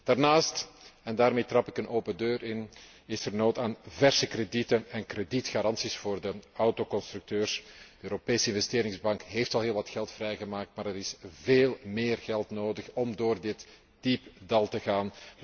Daarnaast daarmee trap ik een open deur in is er nood aan verse kredieten en kredietgaranties voor de autoconstructeurs. De Europese Investeringsbank heeft al heel wat geld vrijgemaakt, maar er is veel meer geld nodig om door dit diepe dal te gaan.